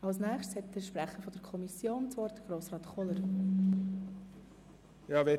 Nun hat der Kommissionspräsident, Grossrat Kohler, das Wort.